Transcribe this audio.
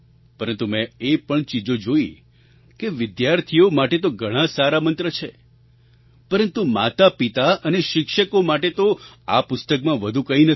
પરંતુ મેં એ પણ ચીજો જોઈ કે વિદ્યાર્થીઓ માટે તો ઘણા સારા મંત્ર છે પરંતુ માતાપિતા અને શિક્ષકો માટે તો આ પુસ્તકમાં વધુ કંઈ નથી